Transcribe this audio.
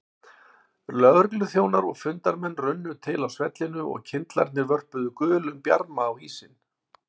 Lögregluþjónar og fundarmenn runnu til á svellinu og kyndlarnir vörpuðu gulum bjarma á ísinn.